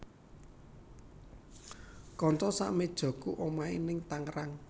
Konco sak mejoku omahe ning Tangerang